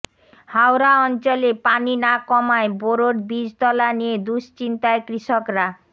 হাওরাঞ্চলে পানি না কমায় বোরোর বীজতলা নিয়ে দুশ্চিন্তায় কৃষকরা